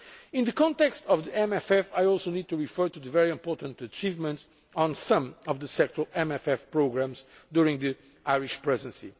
In the context of the MFF, I also need to refer to the very important achievements on some of the sectoral MFF programmes during the Irish Presidency.